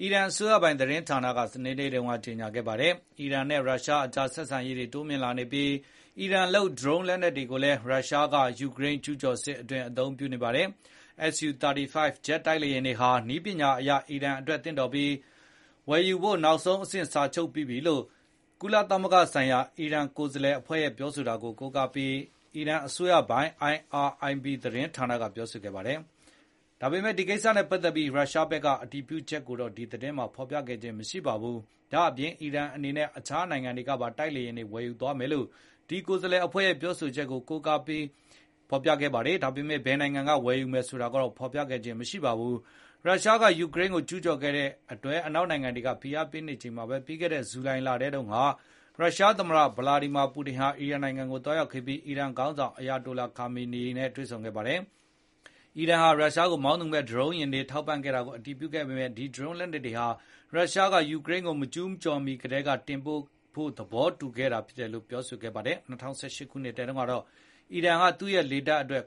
အီရန်အစိုးပိုင်သတင်းဌာနက စနေနေ့မှာကြေညာခဲ့ပါတယ်။ အီရန်နဲ့ရုရှားကြား ဆက်ဆံရေးတွေတိုးမြင့်လာနေပြီး အီရန်လုပ် ဒရုန်းလက်နက်တွေကိုလည်း ရုရှားက ယူကရိန်းကျူးကျော်စစ်အတွင်း အသုံးပြုနေပါတယ်။ SU 35 ဂျက်တိုက်လေယာဉ်တွေဟာ နည်းပညာအရ အီရန်အတွက်သင့်လျော်ပြီး ဝယ်ယူဖို့နောက်ဆုံးအဆင့် စာချုပ်ပြီးပြီလို့ ကုလသမဂ္ဂဆိုင်ရာ အီရန်ကိုယ်စားလှယ်အဖွဲ့ကပြောတာကို ကိုးကားပြီး အီရန်အစိုးရပိုင် IRIB သတင်းဌာနက ပြောပါတယ်။ ဒါပေမယ့် ဒီကိစ္စနဲ့ပတ်သက်ပြီး ရုရှားဘက်ကအတည်ပြုချက်ကိုတော့ ဒီသတင်းမှာ ဖေါ်ပြခဲ့ခြင်းမရှိပါဘူး။ ဒါ့ပြင် အီရန်အနေနဲ့ အခြားနိုင်ငံတွေကပါ တိုက်လေယဉ်တွေဝယ်ယူသွားမယ်လို့ ဒီကိုယ်စားလှယ်အဖွဲ့က ပြောဆိုခဲ့ပါတယ်။ ဒါပေမဲ့ ဘယ်နိုင်ငံတွေကနေ ဝယ်ယူမယ်ဆိုတာကိုတော့ ဖေါ်ပြခဲ့ခြင်းမရှိပါဘူး။ ရုရှားက ယူကရိန်းကိုကျူးကျော်ခဲ့တဲ့အတွက် အနောက်နိုင်ငံတွေက ဖိအားပေးနေချိန်မှာပဲ ပြီးခဲ့တဲ့ဇူလိုင်လထဲတုန်းက ရုရှားသမ္မတ ဗာလာဒီမာပူတင်ဟာ အီရန်နိုင်ငံကိုသွားရောက်ခဲ့ပြီး အီရန်ခေါင်းဆောင် အရာတိုလာ အလီ ခါမီနီနဲ့ တွေ့ဆုံခဲ့ပါတယ်။ အီရန်ဟာ ရုရှားကို မောင်းသူမဲ့ဒရုန်းယာဉ်တွေထောက်ပံ့ခဲ့တာကို အတည်ပြုခဲ့ပေမဲ့ ဒီဒရုန်းလက်နက်တွေဟာ ရုရှားက ယူကရိန်းကိုမကျူးကျော်မီကတည်းက တင်ပို့ဖို့ သဘောတူခဲ့တာဖြစ်တယ်လို့ ဆိုပါတယ်။ ၂၀၁၈ ခုနှစ်တုန်းကတော့ အီရန်ဟာ သူ့ရဲ့လေတပ်အတွက်